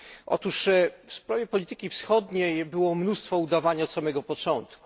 Otóż w sprawie polityki wschodniej było mnóstwo udawania od samego początku.